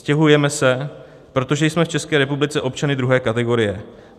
Stěhujeme se, protože jsme v České republice občany druhé kategorie.